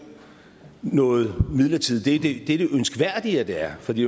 noget midlertidigt det er det ønskværdige at det er fordi